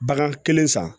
Bagan kelen san